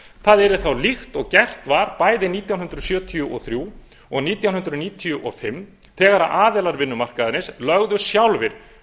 það yrði þá líkt og gert var eftir nítján hundruð sjötíu og þrjú og nítján hundruð níutíu og fimm þegar aðilar vinnumarkaðarins lögðu sjálfir